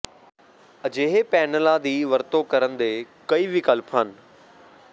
ਅਜਿਹੇ ਪੈਨਲਾਂ ਦੀ ਵਰਤੋਂ ਕਰਨ ਦੇ ਕਈ ਵਿਕਲਪ ਹਨ